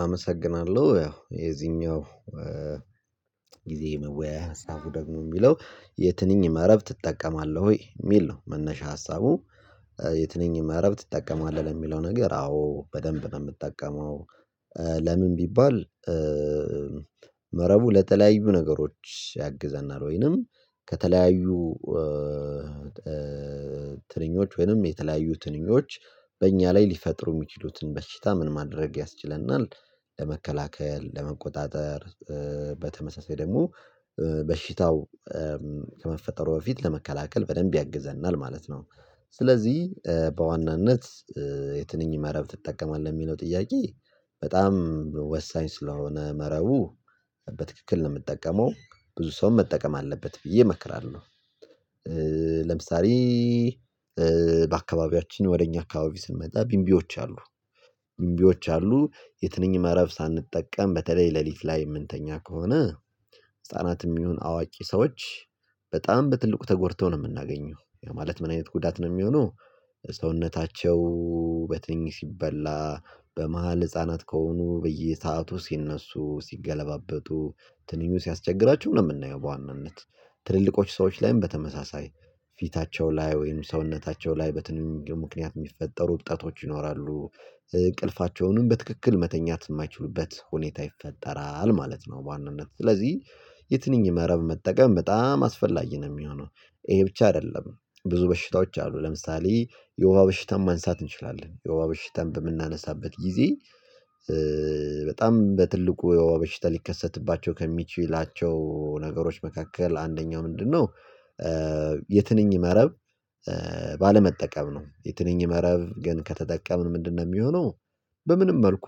አመሰግናለሁ። ያው የዚህኛው ጊዜ መወያያ ሀሳቡ ደግሞ የሚለው የትንኝ መረብ ትጠቀማለህ? የሚል ነው መነሻ ሀሳቡ የትንኝ መረብ ትጠቀማለህ? የሚለው ነገር አዎ በጥሩ ሁኔታ ነው የምጠቀመው። ለምን ቢባል መረቡ ለተለያዩ ነገሮች ያግዘናል ወይም ከተለያዩ ትናንሾች ወይም የተለያዩ ትናንሾች በእኛ ላይ ሊፈጥሩ የሚችሉትን በሽታ ምን ማድረግ ያስችለናል? ለመከላከል፣ ለመቆጣጠር በተመሳሳይ ደግሞ በሽታው ከመፈጠሩ በፊት ለመከላከል በጥሩ ሁኔታ ያግዘናል ማለት ነው። ስለዚህ በዋናነት የትንኝ መረብ ትጠቀማለህ? የሚለው ጥያቄ በጣም ወሳኝ ስለሆነ መረቡን በትክክል ነው የምጠቀመው። ብዙ ሰውም መጠቀም አለበት ብዬ እመክራለሁ። ለምሳሌ በአካባቢያችን ወደ እኛ አካባቢ ስንመጣ ብንቢዎች አሉ ብንቢዎች አሉ የትኝ መረብ ሳንጠቀም በተለይ ሌሊት ላይ የምንተኛ ከሆነ ህፃናትም ይሁን አዋቂ ሰዎች በጣም በትልቁ ተጎድተው ነው የምናገኛው ማለት ምን አይነት ጉዳት ነው የሚሆነው ሰውነታቸው ሲበላ በመሃል ህፃናት ከሆኑ በየሰአቱ ሲነሱ ሲገለባበጡ ትንኙ ሲያስቸግራቸው ነው የምናየው በዋናነት ትልልቆች ላይም በተመሳሳይ ፊታቸው ላይ ወይም ሰውነታቸው ላይ በትንሹ ምክንያት የሚፈጠሩ እብጠቶች ይኖራሉ እ እንቅልፋቸውንም በትክክል መተኛት የማይችሉበት ሁኔታ ይፈጠራል ማለት ነው በዋናነት ስለዚህ የትንኝ መረብ መጠቀም በጣም አስፈላጊ ነው የሚሆነው። ይህ ብቻ አይደለም፤ ብዙ በሽታዎች አሉ። ለምሳሌ የወባ በሽታንም ማንሳት እንችላለን። የወባ በሽታን በምናነሳበት ጊዜ በጣም በትልቁ የወባ በሽታ ሊከሰትባቸው ከሚችላቸው ነገሮች መካከል አንደኛው ምንድነው የትንኝ መረብ ባለመጠቀም ነው። የትንኝ መረብ ግን ከተጠቀምን ምንድነው የሚሆነው? በማንኛውም መልኩ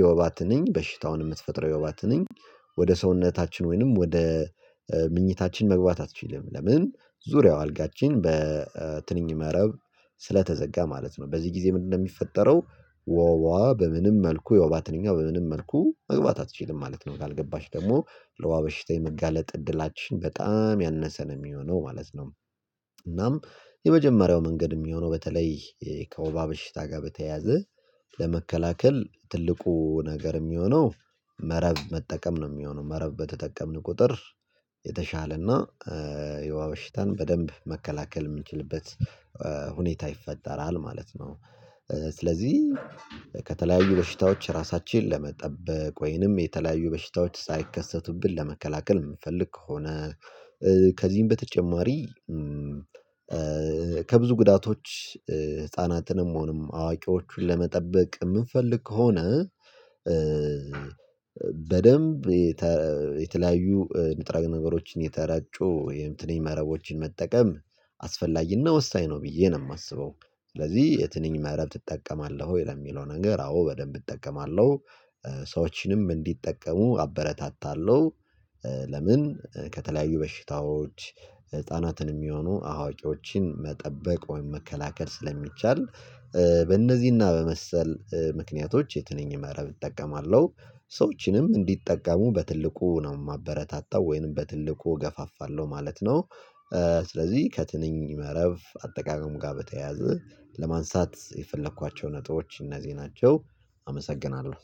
የወባ ትንኝ በሽታውን የምትፈጥረው የወባ ትንኝ ወደ ሰውነታችን ወይም ወደ ምኞታችን መግባት አትችልም። ምክንያቱም ዙሪያው አልጋችን በትንኝ መረብ ስለተዘጋ ማለት ነው። በዚህ ጊዜ ምንድነው የሚፈጠረው? ወባ በማንኛውም መልኩ፣ የወባ ትንኝ በማንኛውም መልኩ መግባት አትችልም ማለት ነው። ካልገባች ደግሞ ለወባ በሽታ የመጋለጥ እድላችን በጣም ያነሰ ነው የሚሆነው ማለት ነው። እናም የመጀመሪያው መንገድ የሚሆነው በተለይ ከወባ በሽታ ጋር በተያያዘ ለመከላከል ትልቁ ነገር የሚሆነው መረብ መጠቀም ነው የሚሆነው። መረብ በተጠቀምን ቁጥር የተሻለና የወባ በሽታን በደንብ መከላከል የምንችልበት ሁኔታ ይፈጠራል ማለት ነው። ስለዚህ ከተለያዩ በሽታዎች ራሳችንን ለመጠበቅ ወይም የተለያዩ በሽታዎች ሳይከሰቱብን ለመከላከል የምንፈልግ ከሆነ ከዚህም በተጨማሪ ከብዙ ጉዳቶች ህፃናትም ሆኑ አዋቂዎችን ለመጠበቅ የምንፈልግ ከሆነ በጥሩ ሁኔታ የተለያዩ ንጥረ ነገሮችን የተረጩ የትንኝ መረቦችን መጠቀም አስፈላጊና ወሳኝ ነው ብዬ ነው የማስበው። ስለዚህ የትኝ መረብ ትጠቀማለህ ወይ? ለሚለው ነገር አዎ፣ በደንብ እጠቀማለሁ፤ ሰዎችም እንዲጠቀሙ አበረታታለሁ:: ለምን ከተለያዩ በሽታዎች ታናናሾችንም ሆኑ አዋቂዎችን መከላከል ወይም መጠበቅ ስለሚቻል፣ በእነዚህና በመሰል ምክንያቶች የትንኝ መረብ እጠቀማለሁ፤ ሰዎችም እንዲጠቀሙ በከፍተኛ ሁኔታ ነው የማበረታታው ወይም በከፍተኛ ሁኔታ እገፋፋለሁ ማለት ነው። ስለዚህ ከትንኝ መረብ አጠቃቀም ጋር በተያያዘ ለማንሳት የፈለኳቸው ነጥቦች እነዚህ ናቸው አመሰግናለሁ